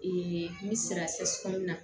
n bɛ sira sɔminan